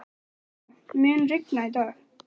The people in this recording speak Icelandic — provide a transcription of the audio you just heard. Alanta, mun rigna í dag?